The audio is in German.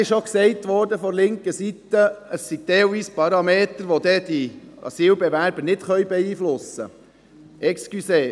Es wurde von linker Seite gesagt, es gebe teilweise Parameter, welche die Asylbewerber nicht beeinflussen könnten.